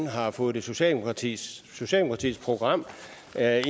har fået socialdemokratiets program